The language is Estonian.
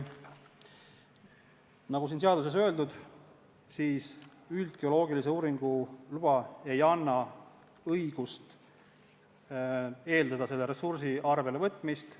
Nagu siin seaduses öeldud, üldgeoloogilise uurimistöö luba ei anna õigust eeldada selle ressursi arvelevõtmist.